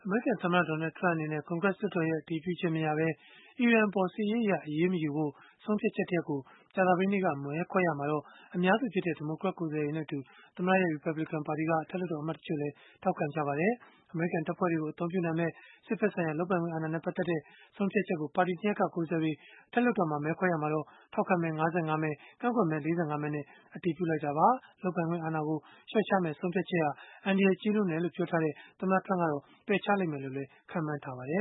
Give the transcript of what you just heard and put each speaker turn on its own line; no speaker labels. မေရိကန်သမ္မတ Donald Trump အနေနဲ့ ကွန်ဂရက်လွှတ်တော်ရဲ့ အတည်ပြုချက်မရဘဲ အီရန်အပေါ် စစ်ရေးအရ အရေးမယူဖို့ ဆုံးဖြတ်ချက်တရပ်ကို ကြာသပတေးနေ့က မဲခွဲရာမှာ ဒီမိုကရက်ကိုယ်စားလှယ်တွေနဲ့အတူ သမ္မတရဲ့ လူများစု ရီပတ်ဘလစ်ကန်ပါတီက အထက်လွှတ်တော်အမတ် တချို့လည်း ထောက်ခံခဲ့ကြပါတယ်။ အမေရိကန်တပ်ဖွဲ့တွေကို အသုံးပြုနိုင်မယ့် စစ်ဘက်ဆိုင်ရာ လုပ်ပိုင်ခွင့်အာဏာနဲ့ ပတ်သက်တဲ့ ဆုံးဖြတ်ချက်ကို ပါတီ ၂ ရပ်က ကိုယ်စားလှယ်တွေ အထက်လွှတ်တော်မှာ မဲခွဲရာမှာ ထောက်ခံမဲ ၅၅ မဲ ကန့်ကွက်မဲ ၄၅ မဲနဲ့ အတည်ပြုလိုက်တာပါ။ လုပ်ပိုင်ခွင့်အာဏာကို လျှော့ချမယ့် ဆုံးဖြတ်ချက်ဟာ အန္တရာယ်ကြီးလွန်းတယ်လို့ ပြောထားတဲ့ သမ္မတ Trump ကတော့ ပယ်ချ
လိမ့်မယ်လို့ ခန့်မှန်းရပါတယ